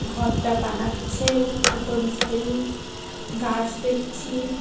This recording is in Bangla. ঘরটা বানাচ্ছে দুটো মিস্ত্রি গাছ দেখছি।